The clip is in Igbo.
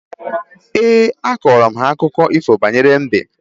Éè, akọrọ m ha akụkọ ifo banyere mbe